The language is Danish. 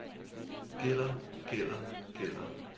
gælder gælder gælder